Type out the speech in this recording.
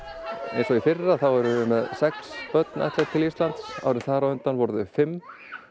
eins og í fyrra erum við með sex börn ættleidd til Íslands árið þar á undan voru þau fimm